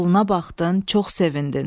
Soluna baxdın, çox sevindin.